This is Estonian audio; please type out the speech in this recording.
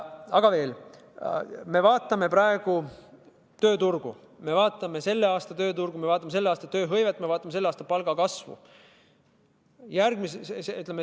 Aga veel, me vaatame praegu selle aasta tööturgu, me vaatame selle aasta tööhõivet, me vaatame selle aasta palgakasvu.